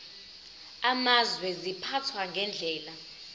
amazwe ziphathwa ngendlela